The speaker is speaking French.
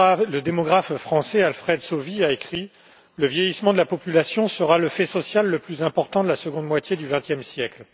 Le démographe français Alfred Sauvy a écrit Le vieillissement de la population sera le fait social le plus important de la seconde moitié du XXe siècle.